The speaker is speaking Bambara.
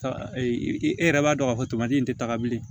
E e yɛrɛ b'a dɔn k'a fɔ in tɛ taga bilen